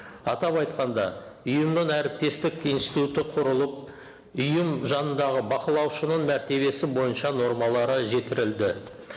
атап айтқанда ұйымның әріптестік институты құрылып ұйым жанындағы бақылаушының мәртебесі бойынша нормалары